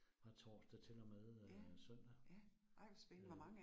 Fra torsdag til og med øh søndag øh